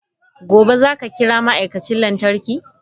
Gobe ​​zaka kira ma'aikacin lantarki?